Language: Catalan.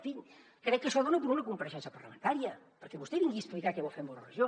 en fi crec que això dona per a una compareixença parlamentària perquè vostè vingui a explicar què vol fer amb l’euroregió